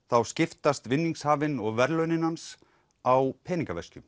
þá skiptast vinningshafinn og verðlaunin hans á